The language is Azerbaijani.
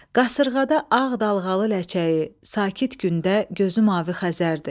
Qasırğada ağ dalğalı ləçəyi, sakit gündə gözü mavi Xəzərdir.